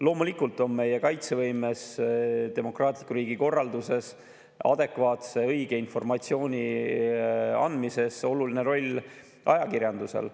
Loomulikult on meie kaitsevõimes, demokraatliku riigi korralduses ning adekvaatse ja õige informatsiooni andmises oluline roll ajakirjandusel.